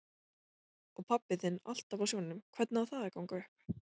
Og pabbi þinn alltaf á sjónum, hvernig á það að ganga upp?